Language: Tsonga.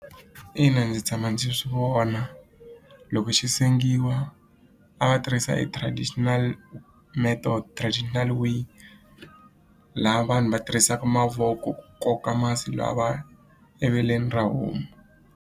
Ina ndzi tshama ndzi swi vona loko xi sengiwa a va tirhisa e traditional method traditional laha vanhu va tirhisaka mavoko ku koka masi lawa eveleni ra homu.